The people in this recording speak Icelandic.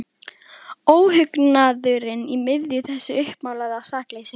Óhugnaðurinn í miðju þessu uppmálaða sakleysi.